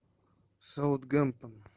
саутгемптон